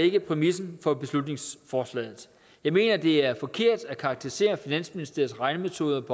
ikke præmissen for beslutningsforslaget jeg mener at det er forkert at karakterisere finansministeriets regnemetoder